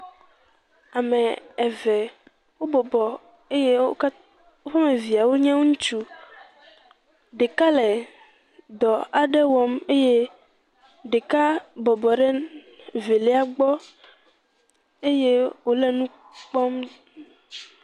Ame eve obɔbɔ eye wo ka.. woƒe ame viewo nye ŋutsu, ɖeka le dɔ aɖe wɔm eye ɖeka bɔbɔ ɖe velia gbɔ eye ole nu kpɔm.